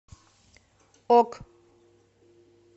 ок